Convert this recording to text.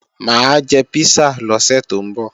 Mà á jẹ písà lọ́sẹ̀ tó ń bọ̀